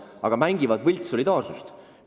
Aga mängivad solidaarsust!